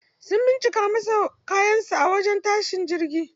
Sun bincika masa kayan sa a wajen tashin jirgi.